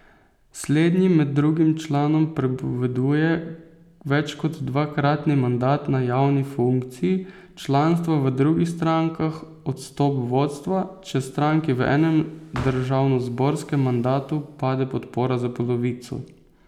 Slednji med drugim članom prepoveduje več kot dvakratni mandat na javni funkciji, članstvo v drugih strankah, odstop vodstva, če stranki v enem državnozborskem mandatu pade podpora za polovico ...